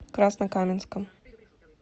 краснокаменском